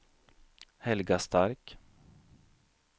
Helga Stark